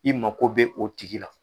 I mago bɛ o tigi la